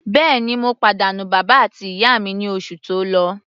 Bẹ́ẹ̀ni, mo pàdánù bàbá àti ìyá mi ní oṣù tó lọ.